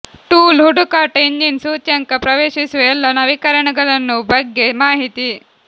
tool ಹುಡುಕಾಟ engine ಸೂಚ್ಯಂಕ ಪ್ರವೇಶಿಸುವ ಎಲ್ಲ ನವೀಕರಣಗಳನ್ನು ಬಗ್ಗೆ ಮಾಹಿತಿ